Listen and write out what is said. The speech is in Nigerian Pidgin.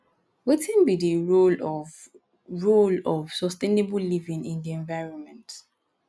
wetin be di role of role of sustainable living in di environment